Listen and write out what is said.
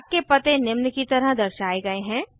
डाक के पते निम्न की तरह दर्शाये गए है